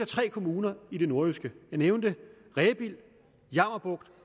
tre kommuner i det nordjyske jeg nævnte rebild jammerbugt